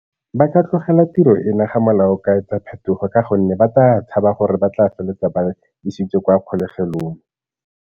Ba ka tlogela tiro ena ga molao ka etsa phetogo ka gonne ba tla tshaba gore ba tla feleletsa ba isitswe kwa kgolegelong.